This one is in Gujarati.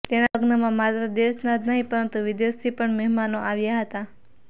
તેના લગ્નમાં માત્ર દેશના જ નહિ પરંતુ વિદેશથી પણ મહેમાનો આવ્યા હતા